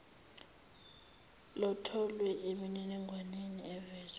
lutholwe emininingwaneni evezwe